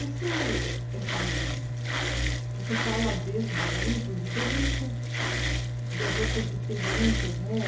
Isso eh que você fala desse momento, diferente das outras experiências, né?